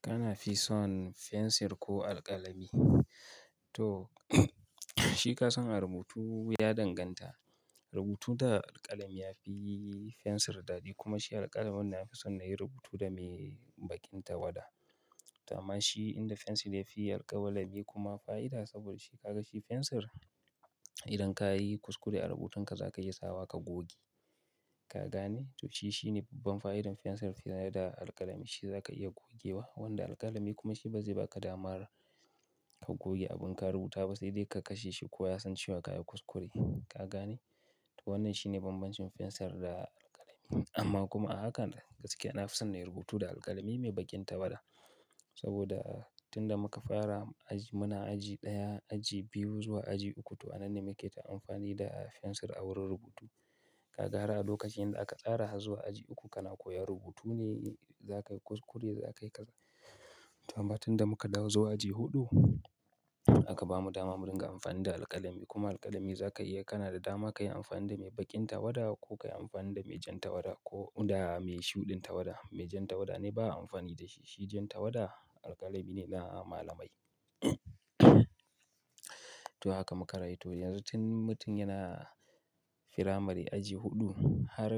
Kana fi son fensir ko alƙalami? To shi ka san rubutu ya danganta. Rubutu da alƙalami yafi fensir daɗi kuma shi alƙalamin nafi son na yi rubutu da mai baƙin tawada. To amma shi inda fensir yafi alkawalami kuma fa'ida saboda shi ka ga shi fensir, idan ka yi kuskure a rubutun ka za ka iya sawa ka goge. Ka gane? To shi shine babban fa'idar fensir fiye da alƙalami. Shi za ka iya gogewa wanda alƙalami kuma shi bazai baka damar ka goge abu in ka rubuta ba sai dai ka kashe shi ko inya sance wa ka yi kuskure. Ka gane? To wannan shine bambancin fensir da alƙalami. Amma kuma a haka gaskiya nafi son na yi rubutu da alƙalami mai baƙin tawada. Saboda tunda muka fara aji, muna aji ɗaya, aji biyu zuwa aji uku to wannan ne muke ta amfani da fensir a wurin rubutu. Ka ga har a lokacin da aka tsara zuwa aji uku kana koyar rubutu ne za ka yi kuskure za ka yi kaza. To amma tunda muka dawo zuwa aji huɗu aka bamu dama mu dinga amfani da alƙalami kuma alƙalami za ka iya kana da dama ka yi amfani da mai baƙin tawada ko ka yi amfani da mai jan tawada ko da mai shuɗin tawada. Mai jan tawada ne ba amfani da shi. Shi jan tawada alƙalami ne na malamai. To haka muka rai. To yanzu tun mutum yana firamare aji huɗu har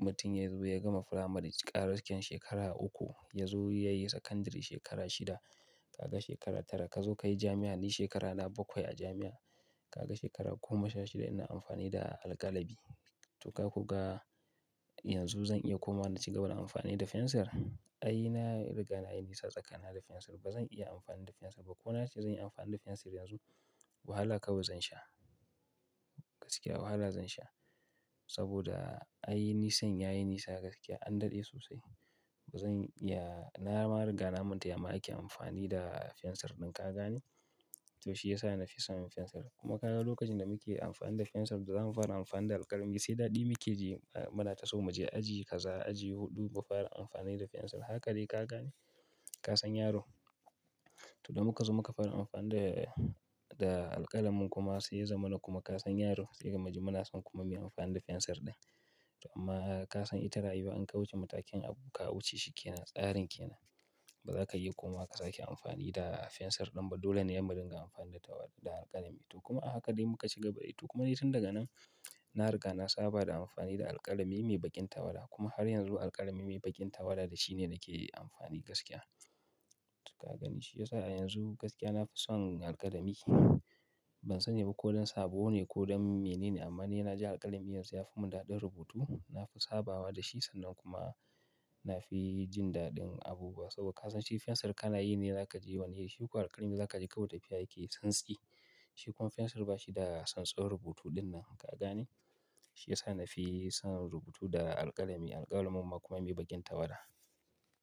mutum yazo ya gama firamare gaskiya shekara uku yazo yayi sakandare shekara shida. Ka ga shekara tara. Kazo ka yi jami'a, ni shekaru na bakwai a jami'a. Ka ga shekara goma sha shida ina amfani da alƙalami. To ka kuga yanzu zan iya kuma na ci gaba da amfani da fensir? Ai na riga na yi nisa tsakanin da fensir. Ba zan iya amfani da fensir ba. Ko na ce zan yi amfani da fensir yanzu, wahala kawai zan sha. Gaskiya wahala zan sha. Saboda ai nisan ya yi nisa gaskiya an dade sosai. Zan iya, na ma riga na manta yama ake amfani da fensir ɗin. Ka gane? To shi ya sa na fi son fensir. Kuma ka ga lokacin da muke amfani da fensir da zamu fara amfani da alƙalami sai daɗi muke ji a mana taso mu je aji kaza, aji huɗu mu fara amfani da fensir. Haka dai ka gane? Ka san yaro? To da muka zo muka fara amfani da, da alƙalamin kuma sai ya zamana kuma ka san yaro sai gama ji muna son kuma mu yi amfani da fensir ɗin. To amma ka san ita rayuwa in ka wuce matakin abu ka wuce shi ke nan, tsarin ke nan. Ba za ka iya kuma ka sake amfani da fensir ɗin ba. Dole ne ya madiga amfani da tawada da alƙalami. To kuma a haka dai muka ci gaba dai. To kuma dai tun daga nan na riga na saba da amfani da alƙalami mai baƙin tawada kuma har yanzu alƙalami mai baƙin tawada shine yake yi amfani gaskiya. Ka gani shi ya sa a yanzu gaskiya nafi son alƙalami. Ban sani ba ko don sabo ne ko don mene ne amma ni na ji alƙalami yanzu yafi mun daɗin rubutu. Nafi sabawa da shi sannan kuma nafi jin daɗin abubuwa. Saboda ka san shi fensir kana yi ne za ka je wani iri. Shi kuwa alƙalami za ka je kawai tafiya yake santsi Shi kuma fensir ba shi da santsin rubutu nan. Ka gane? Shi ya sa nafi son rubutu da alƙalami. Alƙalamin kuma mai baƙin tawada.